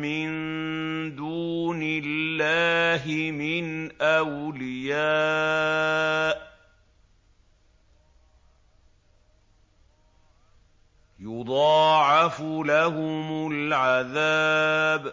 مِّن دُونِ اللَّهِ مِنْ أَوْلِيَاءَ ۘ يُضَاعَفُ لَهُمُ الْعَذَابُ ۚ